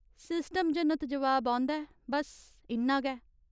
System जनत जवाब औंदा ऐ, बस्स इन्ना गै।